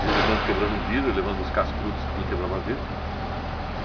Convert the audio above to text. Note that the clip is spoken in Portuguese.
De vez em quando, quebrando um vidro e levando os cascudos porque quebrava vidro.